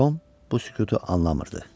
Tom bu sükutu anlamırdı.